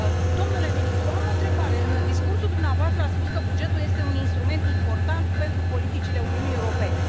Domnule ministru, am o întrebare în discursul dumneavoastră ați spus că bugetul este un instrument important pentru politicile Uniunii Europene.